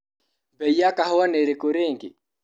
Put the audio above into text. Bei ya kahũa nĩ irĩkũ rĩngĩ?